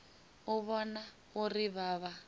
u vhona uri vha vha